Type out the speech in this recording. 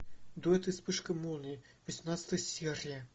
дуэт и вспышка молнии восемнадцатая серия